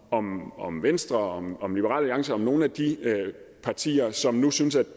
om om venstre om om liberal alliance om nogle af de partier som nu synes at